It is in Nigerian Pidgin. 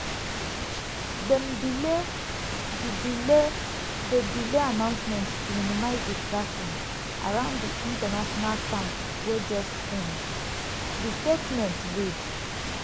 "dem delay di delay di announcement to minimise distraction around di international camp wey just end" di statement read.